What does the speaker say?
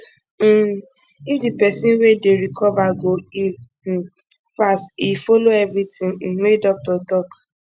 um if di pesin wey dey recover go heal um fast e follow everything um wey doctor talk